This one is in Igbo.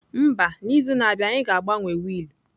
Mba, n'izu na-abịa anyị ga-agbanwe wiil.